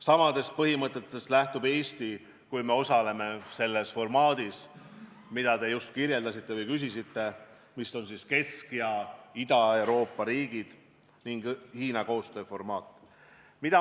Samadest põhimõtetest lähtub Eesti, kui me osaleme selles formaadis, mille kohta te just küsisite, mis on Kesk- ja Ida-Euroopa riikide ning Hiina koostöö formaat.